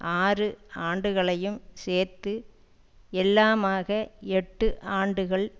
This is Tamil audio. ஆறு ஆண்டுகளையும் சேர்த்து எல்லாமாக எட்டு ஆண்டுகள்